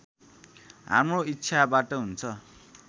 हाम्रो इच्छाबाट हुन्छ